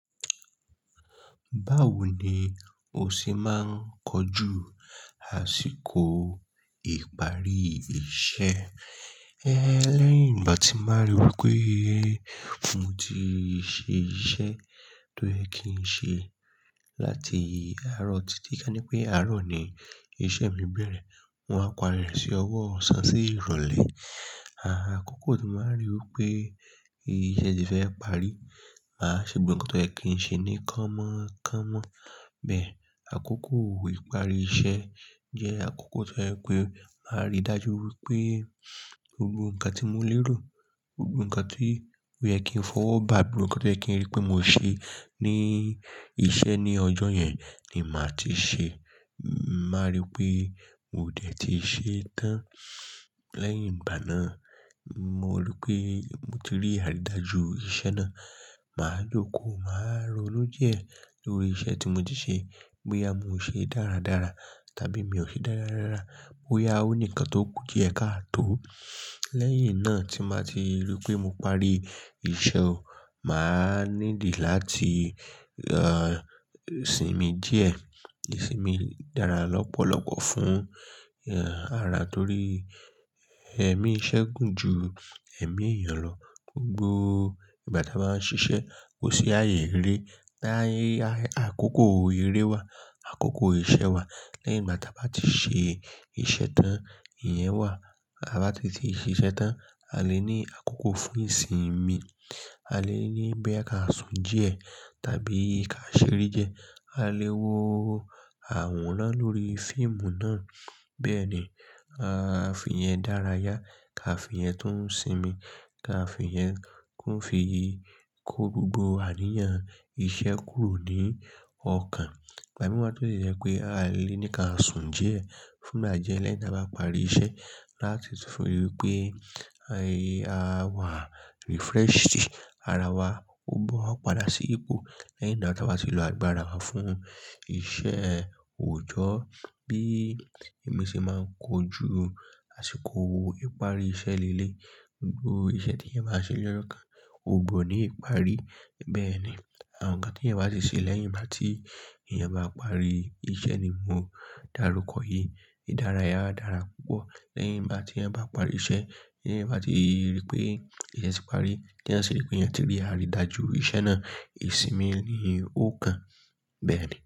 Báwo ni o ṣe máa ń kojú àsìkò ìparí iṣẹ́? Ẹ lẹ́yìn ìgbà tí n bá ri wí pé mo ti ṣe iṣẹ́ tó yẹ kí n ṣe láti àárọ̀ títí ká ní pé àárọ̀ ni iṣẹ́ mi bẹ̀rẹ̀, mo wá parí rẹ̀ sí ọwọ́ ọ̀sán sí ìrọ̀lẹ́. Ààh, àkókò tí màá rí wí pé ìṣe ti fẹ́ parí, màá ṣe gbogbo nǹkan tó yẹ kí n ṣe ní kánmọ́ kánmọ́. Bẹ́ẹ̀ àkókò ìparí iṣẹ́ jẹ́ àkókò tó jẹ pé màá rí dájú wí pé gbogbo nǹkan tí mo lérò, gbogbo nǹkan tí ó yẹ kí n fọwọ́ bà, gbogbo nǹkan tí o yẹ kì í rí pé mo ṣe ní iṣẹ́ ní ọjọ́ yẹn ni màá ti ṣe. Màá rí pé mo ò dẹ̀ ti ṣe tán. Lẹ́yìn ìgbá náa, mo rí pé mo ti rí àrídájú iṣẹ́ náà. Màá jókòó, màá ronú díẹ̀ lórí iṣẹ́ tí mo ti ṣe bóyá mo ṣe dáradára tàbí mi ò ṣe dáradára, bóyá ó nìkan tó kù díẹ̀ ká tó. Lẹ́yìn náà tí n bà ti rí pé mo parí iṣẹ́, màá need láti, ah, sinmi díẹ̀. Ìsinmi dára lọ́pọ̀lọ́pọ̀ fún, ah, ara torí ẹ̀mí iṣẹ́ gùn ju ẹ̀mí èèyàn lọ. Gbogbo ìgbà tí a bá ń ṣiṣẹ́ kò sí ààyè eré. Táyé, àkókò eré wà, àkókò ìṣe wà. Lẹ́yìn igbá ti a ba ti ṣe iṣẹ́ tán, ìyẹn wà. Ta bá tete ṣe iṣẹ́ tán, a lè ní àkókò fún ìsinmi. A lè ní bí a ká sùn díẹ̀ tàbí ká ṣeré die. A lè wo àwòrán lórí fíìmù náà. Bẹ́ẹ̀ni, a fi iyẹn dára yá, ká fi iyẹn tún sinmi, ká fi iyẹn kún fi kó gbogbo àríyàn iṣẹ́ kúrò ní ọkàn. Ìgbà mìí wa to dè jẹ́ pé a lè ní ká sùn díẹ̀ fún igba die lẹ́yìn tí a bá parí iṣẹ́ láti tún fún wí pé, ayé a wà refreshed ara wa ò gbọ́ padà sí ipò lẹ́yìn igbà tí a bati lo àgbára wa fún iṣẹ́ òòjọ́. Bí èmi ṣe máa ń kojú àsìkò ìparí iṣẹ́ lé lé, gbogbo iṣẹ́ tí ẹ̀eyan bá ṣe lọ́jọ́ kan ò gbọ́ ní ìparí. Bẹ́ẹ̀ ni, àwọn nǹkan tí ẹ̀eyan bá ti ṣe lẹ́yìn igbá tí eeyan bá parí iṣẹ́ ni mo darúkọ yìí. Ìdárayá dára púpọ̀ lẹ́yìn igbá tí ẹ̀eyan bá parí iṣẹ́, ti eeyan bá ti rí pé eeyan ti parí, tí ẹeyan ṣi rí pé eeyan ti rí àrídájú iṣẹ́ náà, ìsinmi ni ó kan. Bẹ́ẹ̀ ni.